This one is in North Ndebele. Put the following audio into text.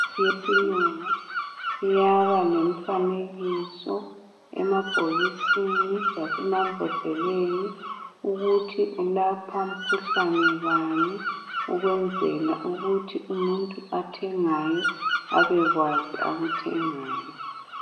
Imithi yesilungu iyaba lemfanekiso emabhokisini lasema mbhodleleni ukuthi ilapha mikhuhlane bani ukwenzela ukuthi umuntu othengayo abekwazi akuthengayo.